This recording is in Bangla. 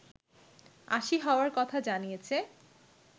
৮০ হওয়ার কথা জানিয়েছে